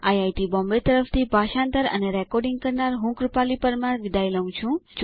IIT Bombay તરફથી ભાષાંતર કરનાર હું કૃપાલી પરમાર વિદાય લઉં છું